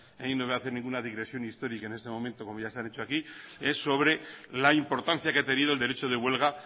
y no voy a hacer ninguna digresión histórica en este momento como ya se ha dicho aquí sobre la importancia que ha tenido el derecho de huelga